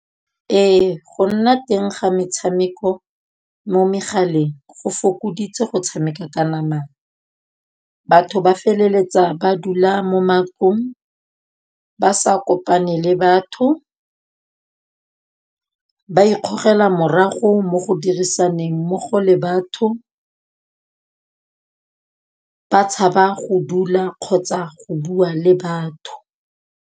Ee go nna teng ga metshameko mo megaleng go fokoditse go tshameka ka namana. Batho ba feleletsa ba dula mo matlong, ba sa kopane le ba batho ba ikgogela morago mo go dirisaneng mmogo le batho, ba tshaba go dula kgotsa go bua le batho.